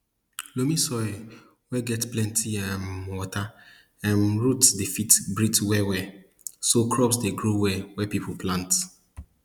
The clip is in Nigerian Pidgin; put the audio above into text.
loamy soil wey get plenti um water um roots dey fit breathe well well so crops dey grow well wey people plant